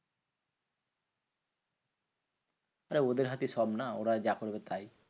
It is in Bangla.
আরে ওদের হাতেই সব না? ওরা যা করবে তাই।